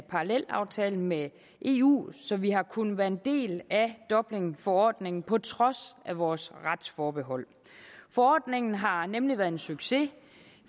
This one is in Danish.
parallelaftale med eu så vi har kunnet være en del af dublinforordningen på trods af vores retsforbehold forordningen har nemlig været en succes